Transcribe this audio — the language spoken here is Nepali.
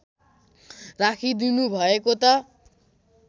राखिदिनु भएको त